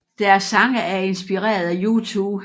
Deres sange er inspireret af U2